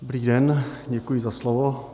Dobrý den, děkuji za slovo.